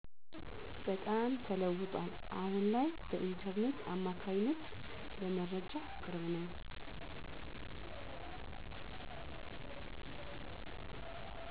በጣም ተለውጧል አሁን ላይ በኢንተርኔት አማካኝነት ለመረጃ ቅርብ ነኝ።